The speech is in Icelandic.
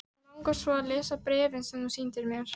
Mig langar svo að lesa bréfin sem þú sýndir mér.